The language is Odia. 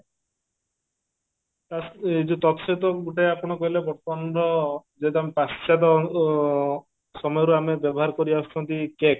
ଏ ଯଉ ଗୋଟେ ଆପଣ କହିଲେ ର ଯେହେତୁ ଆମେ ପାଶ୍ଚାତ ଅ ସମୟରୁ ଆମେ ବ୍ୟବହାର କରିଆସୁଛନ୍ତି cake